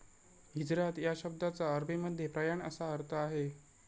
हिजरात या शब्दाचा अरबीमध्ये प्रयाण असा अर्थ आहे.